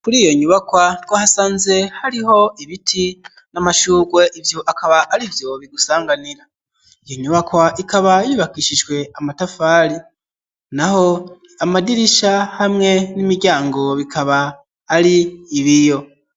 Kuri iyo nyubakwa twahasanze hariho ibiti n'amashugwe, ivyo akaba arivyo bigusanganira. Iyo nyubakwa ikaba yubakishijwe amatafari. Naho amadirisha hamwe n'imiryango bikaba ari ibiyo.